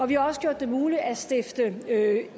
vi har også gjort det muligt at stifte